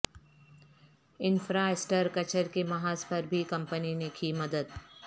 infra structure کے محاذ پر بھی کمپنی نے کی مدد